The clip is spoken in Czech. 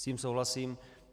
S tím souhlasím.